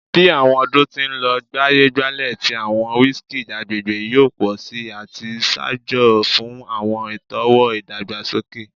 Bi awọn ọdun ti n lọ, gbaye-gbale ti awọn whiskeys agbegbe yoo pọ si ati ṣaajo fun awọn itọwo idagbasoke.